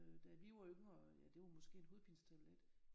Da vi var yngre ja det var måske en hovedpinetablet